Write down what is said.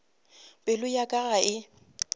pelo ya ka ga e